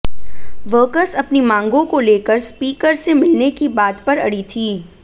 workers अपनी मांगों को लेकर स्पीकर से मिलने की बात पर अड़ी थी